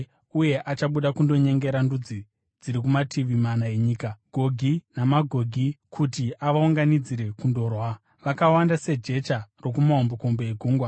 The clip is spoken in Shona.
uye achabuda kundonyengera ndudzi dziri kumativi mana enyika, Gogi naMagogi, kuti avaunganidzire kundorwa. Vakawanda sejecha rokumahombekombe egungwa.